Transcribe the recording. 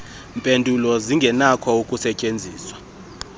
mpendulo zingenakho ukusetyenzwa